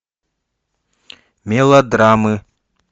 мелодрамы